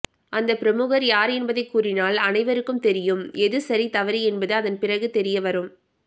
அந்த பிரமுகர் யார் என்பதை கூறினால் அனைவருக்கும் தெரியும் எது சரி தவறு என்பது அதன் பிறகு தெரிய வரும்